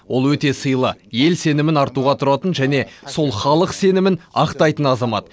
ол өте сыйлы ел сенімін артуға тұратын және сол халық сенімін ақтайтын азамат